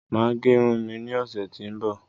Màá gẹ Irun mi ní ọ̀sẹ̀ tí ó ń bọ̀.